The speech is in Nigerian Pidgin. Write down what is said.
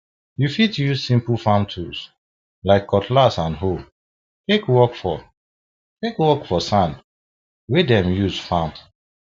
you fit use simple farm tools like cutlass and hoe take work for take work for sand wey dem use farm